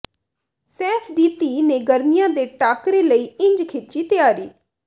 ਸੈਫ਼ ਦੀ ਧੀ ਨੇ ਗਰਮੀਆਂ ਦੇ ਟਾਕਰੇ ਲਈ ਇੰਝ ਖਿੱਚੀ ਤਿਆਰੀ